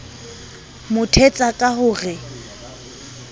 mo thetsa ka ho re